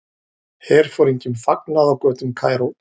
Herforingjum fagnað á götum Kaíró.